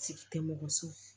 Sigi tɛ mɔgɔ si